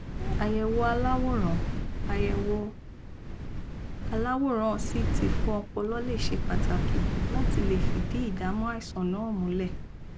àyẹwò aláwòrán àyẹwò aláwòrán ct fún ọpọlọ lẹ ṣe pàtàkì láti lè fìdí ìdámọ àìsàn náà múlẹ